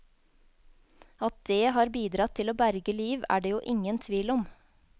At dét har bidratt til å berge liv, er det jo ingen tvil om.